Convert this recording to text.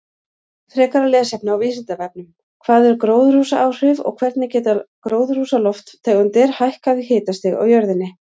Frekara lesefni á Vísindavefnum: Hvað eru gróðurhúsaáhrif og hvernig geta gróðurhúsalofttegundir hækkað hitastig á jörðinni?